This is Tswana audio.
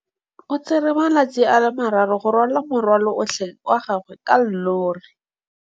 O tsere malatsi a le marraro go rwala morwalo otlhe wa gagwe ka llori.